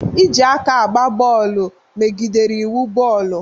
Iji aka gba bọọlụ megidere iwu bọọlụ.